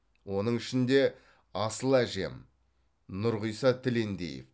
оның ішінде асыл әжем нұрғиса тілендиев